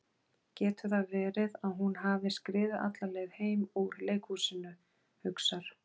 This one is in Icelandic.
Getur það verið að hún hafi skriðið alla leið heim úr leikhúsinu, hugsar